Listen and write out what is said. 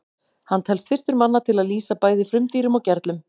hann telst fyrstur manna til að lýsa bæði frumdýrum og gerlum